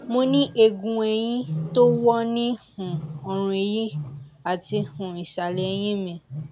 mo ní eegun ẹyìn tó wọ ní um ọrùn ẹyì àti um ìsàlẹ ẹyìn mi